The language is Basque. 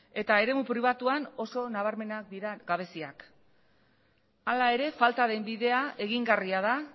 eta eremu pribatuan oso nabarmenak dira gabeziak hala ere falta den bidea egingarria da